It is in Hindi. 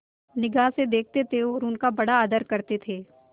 निगाह से देखते और उनका बड़ा आदर करते थे